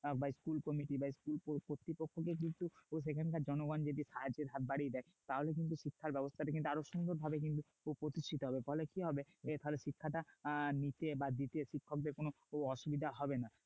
school committee বা school কর্তৃপক্ষকে কিন্তু সেখানকার জনগণ যদি সাহায্যের হাত বাড়িয়ে দেয় তাহলে কিন্তু শিক্ষাব্যবস্থা কিন্তু আরও সুন্দরভাবে কিন্তু প্রতিষ্ঠিত হবে ফলে কি হবে এই শিক্ষাটা নিতে বা দিতে শিক্ষকদের কোন অসুবিধা হবে না